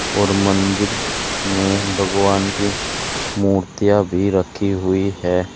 और मंदिर में भगवान की मुर्तियां भी रखी हुई है।